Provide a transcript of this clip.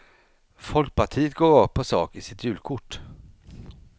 Folkpartiet går rakt på sak i sitt julkort.